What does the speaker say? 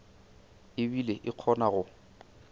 e bile e kgona go